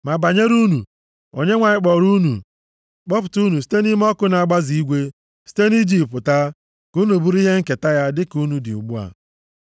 Ma banyere unu, Onyenwe anyị kpọọrọ unu, kpọpụta unu site nʼime ọkụ na-agbaze igwe, site nʼIjipt pụta, ka unu bụrụ ihe nketa ya, dịka unu dị ugbu a.